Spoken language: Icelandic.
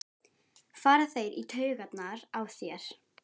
fara þeir í taugarnar á þér?